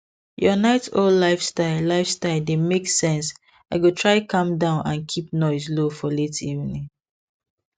your night owl lifestyle lifestyle dey make sense i go try calm down and keep noise low for late evening